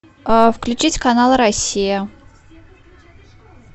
включить канал россия